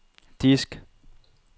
disk